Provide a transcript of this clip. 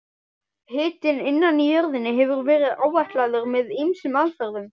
Hiti innan í jörðinni hefur verið áætlaður með ýmsum aðferðum.